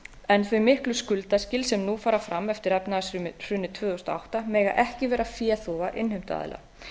en þau miklu skuldaskil sem nú fara fram eftir efnahagshrunið tvö þúsund og átta mega ekki vera féþúfa innheimtuaðila